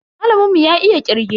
Malamin mu ya iya kirge.